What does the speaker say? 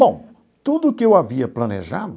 Bom, tudo que eu havia planejado,